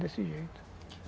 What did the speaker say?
Desse jeito.